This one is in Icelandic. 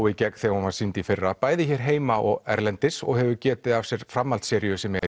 í gegn þegar hún var sýnd í fyrra bæði hér heima og erlendis og hefur getið af sér framhaldsseríu sem er